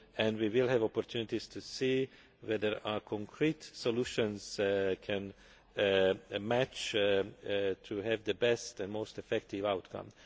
year. We will have opportunities to see whether our concrete solutions can match, to produce the best and most effective outcome.